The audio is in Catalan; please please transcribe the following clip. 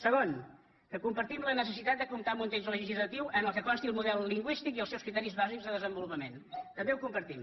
segon que compartim la necessitat de comptar amb un text legislatiu en què consti el model lingüístic i els seus criteris bàsics de desenvolupament també ho compar·tim